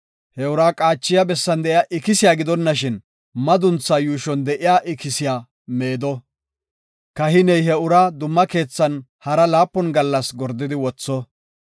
he ura qaachiya bessan de7iya ikisiya gidonashin, madunthaa yuushon de7iya ikisiya meedo. Kahiney he uraa dumma keethan hara laapun gallas gordidi wotho.